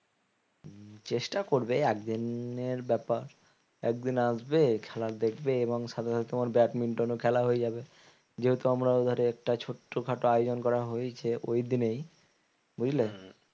চেষ্টা করবে একদিনের ব্যাপার একদিন আসবে খেলা দেখবে এবং সাথে সাথে তোমার ব্যাডমিন্টনও খেলা হয়ে যাবে যেহেতু আমরা একটা ছোট্ট খাটো আয়োজন করা হয়েছে ওই দিনেই বুঝলে?